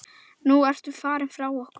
Nú ertu farin frá okkur.